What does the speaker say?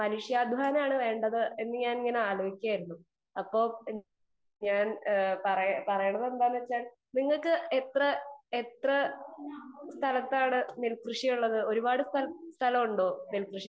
speaker 2 മനുഷ്യാധ്വാനം ആണ് വേണ്ടതു എന്ന് ഞാൻ ആലോചിക്കുകയായിരുന്നു അപ്പൊ ഞാൻ പറയുന്നത് എന്താണെന്നു വച്ചാൽ നിങ്ങൾക്ക് എത്ര സ്ഥലത്താണ്നെൽകൃഷി ഉള്ളത് ഒരുപാട് സ്ഥലം ഉണ്ടോ നെൽകൃഷി